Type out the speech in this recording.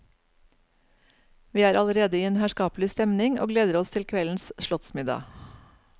Vi er allerede i en herskapelig stemning og gleder oss til kveldens slottsmiddag.